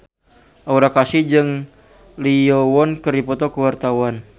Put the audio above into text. Aura Kasih jeung Lee Yo Won keur dipoto ku wartawan